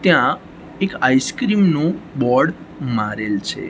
ત્યાં એક આઈસ્ક્રીમ નુ બોર્ડ મારેલુ છે.